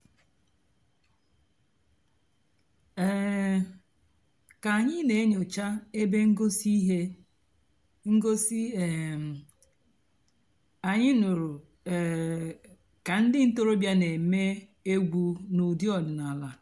um kà ànyị́ nà-ènyòchá èbé ǹgósì íhé ǹgósì um ànyị́ nụ́rụ́ um kà ndị́ ǹtọ́rọ̀bìá nà-èmée ègwú n'ụ́dị́ ọ̀dị́náàlà.